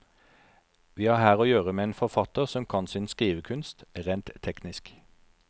Vi har her å gjøre med en forfatter som kan sin skrivekunst, rent teknisk.